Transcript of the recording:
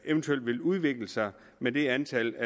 eventuelt vil udvikle sig med det antal